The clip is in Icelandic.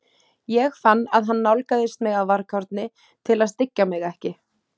Ég fann að hann nálgaðist mig af varkárni til að styggja mig ekki.